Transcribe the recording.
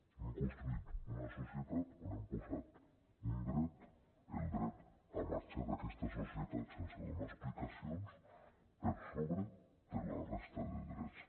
hem construït una societat on hem posat un dret el dret a marxar d’aquesta societat sense donar explicacions per sobre de la resta de drets